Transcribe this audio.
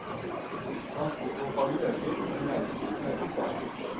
Transportomfanget øker, men reisetiden er konstant.